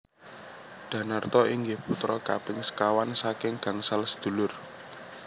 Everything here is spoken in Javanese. Danarto inggih putra kaping sekawan saking gangsal sedulur